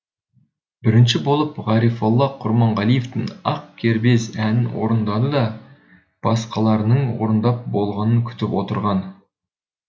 бірінші болып ғарифолла құрманғалиевтің ақ кербез әнін орындады да басқаларының орындап болғанын күтіп отырған